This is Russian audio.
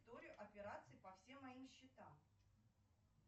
историю операций по всем моим счетам